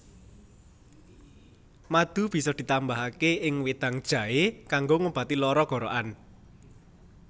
Madu bisa ditambahaké ing wedang jaé kanggo ngobati lara gorokan